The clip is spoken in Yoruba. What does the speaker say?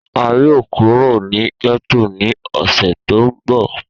A yoo kuro ni getto ni ọsẹ to nbọ.